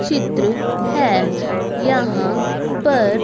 चित्र है यहां पर--